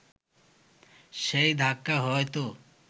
সেই ধাক্কা হয়তো